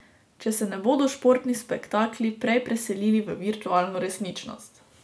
Če se ne bodo športni spektakli prej preselili v virtualno resničnost.